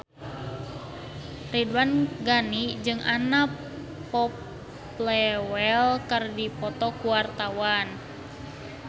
Ridwan Ghani jeung Anna Popplewell keur dipoto ku wartawan